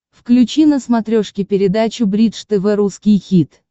включи на смотрешке передачу бридж тв русский хит